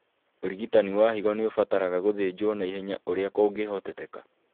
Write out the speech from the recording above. ũrigitani wa higo nĩũbataraga gũthĩnjwo naihenya ũrĩa kũngĩhotekeka